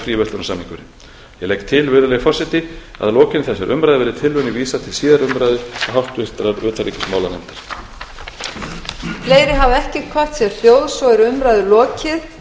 fríverslunarsamningurinn ég legg til virðulegi forseti að að lokinni þessari umræðu verði tillögunni vísað til síðari umræðu og háttvirtrar utanríkismálanefndar